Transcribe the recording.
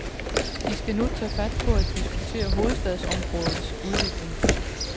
De skal nu tage fat på at diskutere hovedstadsområdets udvikling.